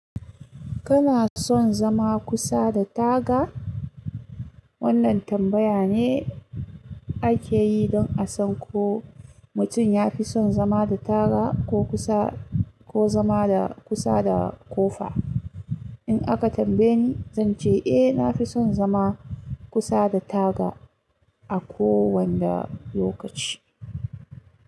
Kana son zama kusa da taga? Wannan tambaya ne ake yi don a san ko mutum ya fi son zama da taga ko kusa ko zama da kusa da ƙofa. In aka tambaye ni, zan ce eh, na fi son zama kusa da taga a kowanda lokaci.